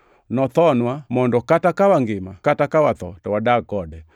Nothonwa mondo kata ka wangima kata ka watho to wadag kode.